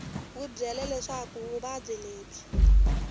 wi byele leswaku vuvabyi lebyi